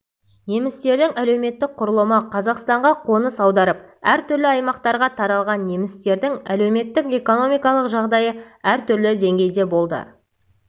немістердің әлеуметтік құрылымы қазақстанға қоныс аударып әр түрлі аймақтарға таралған немістердің әлеуметтік-экономикалық жағдайы әр түрлі деңгейде болды